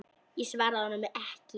Ég svaraði honum ekki.